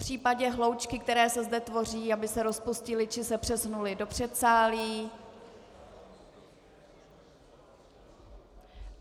Popřípadě hloučky, které se zde tvoří, aby se rozpustily či se přesunuly do předsálí.